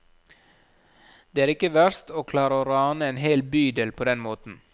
Det er ikke verst, å klare å rane en hel bydel på den måten.